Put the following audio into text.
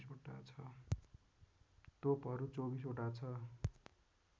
तोपहरू २४ वटा ६